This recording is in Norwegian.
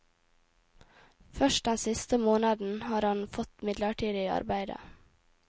Først den siste måneden har han fått midlertidig arbeide.